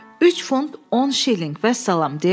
Üç funt 10 şillinq, vəssalam,